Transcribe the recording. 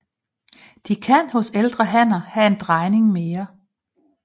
De kan hos ældre hanner have en drejning mere